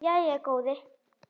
Myndir af ykkur.